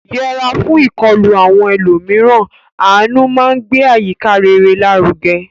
Yẹra fún ìkọlù àwọn ẹlòmíràn; àánú máa ń gbé àyíká rere lárugẹ.